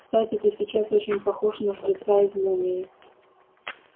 кстати ты сейчас очень похож на жреца из мумии